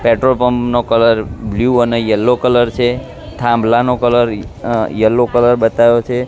Petrol pump નો colour blue અને yellow colour છે થાંભલા નો કલર યલો કલર બતાવ્યો છે.